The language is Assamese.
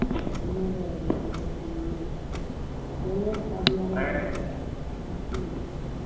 কোনো নাই মই অকল single বেলেগ পাগলা হৈ , নাছিল